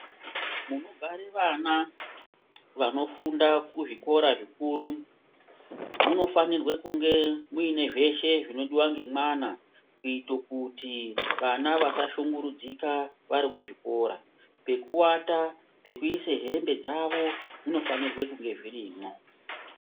Munogare vana vanofunda kuzvikora zvikuru munofanirwe kunge muine zveshe zvingadiva ngemwana. Kuita kuti vana vasashungurudzika vari kuzvikora pekuvata, pekuise hembe dzavo zvofanira kunge zvirimwo.